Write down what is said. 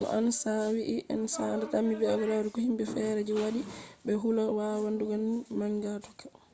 no ansa wi'i en sanda dami be ɓarugo himɓe feere je be waɗi je be hula wawan wadugo konu manga tokka